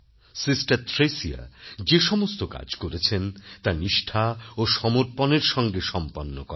sister Thresia যে সমস্ত কাজ করেছেন তা নিষ্ঠা ও সমর্পণের সঙ্গে সম্পন্ন করেন